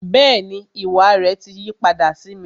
Bẹẹni, ìwà rẹ ti yí padà sí mi